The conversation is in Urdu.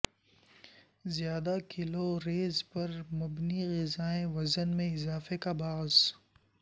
زیادہ کیلو ر یز پر مبنی غذائیں وزن میں اضافے کا باعث